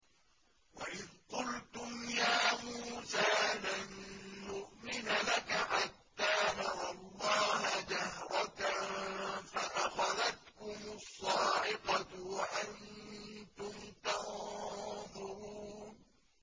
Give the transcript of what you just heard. وَإِذْ قُلْتُمْ يَا مُوسَىٰ لَن نُّؤْمِنَ لَكَ حَتَّىٰ نَرَى اللَّهَ جَهْرَةً فَأَخَذَتْكُمُ الصَّاعِقَةُ وَأَنتُمْ تَنظُرُونَ